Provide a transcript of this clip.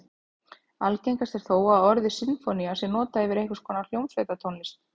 Algengast er þó að orðið sinfónía sé notað yfir einhvers konar hljómsveitartónlist.